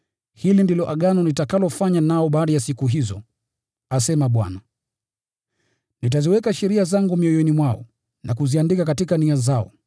“Hili ndilo Agano nitakalofanya nao baada ya siku hizo, asema Bwana. Nitaziweka sheria zangu mioyoni mwao, na kuziandika katika nia zao.”